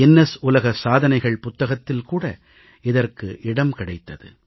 Guinness உலக சாதனைகள் புத்தகத்தில் கூட இதற்கு இடம் கிடைத்தது